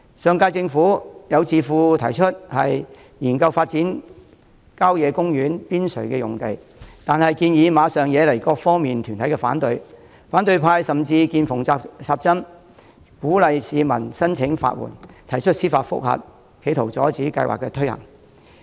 上屆政府任內，有智庫建議研究發展郊野公園邊陲用地，但馬上惹來各方團體反對，反對派甚至"見縫插針"，鼓勵市民申請法援，提出司法覆核，企圖阻止計劃推行。